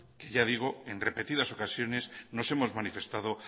que en repetidas ocasiones nos hemos manifestado